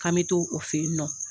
K'an mi to o fen yen nɔ